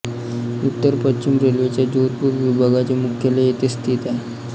उत्तर पश्चिम रेल्वेच्या जोधपूर विभागाचे मुख्यालय येथेच स्थित आहे